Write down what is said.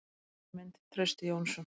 Önnur mynd: Trausti Jónsson.